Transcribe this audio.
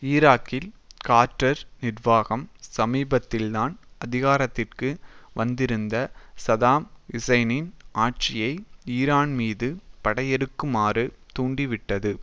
ஈராக்கில் கார்ட்டர் நிர்வாகம் சமீபத்தில்தான் அதிகாரத்திற்கு வந்திருந்த சதாம் ஹுசைனின் ஆட்சியை ஈரான்மீது படையெடுக்குமாறு தூண்டிவிட்டது